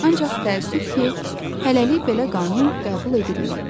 Ancaq təəssüf ki, hələlik belə qanun qəbul edilməyib.